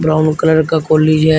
Brown colour का college है।